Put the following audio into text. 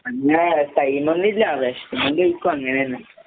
അങ്ങനെ ടൈമൊന്നില്ലാ. വിശക്കുമ്പകയ്ക്കും അങ്ങനന്നെ.